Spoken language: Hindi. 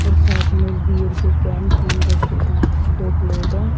और साथ में बीयर के कैन तीन रखे हैं दो प्लेट हैं।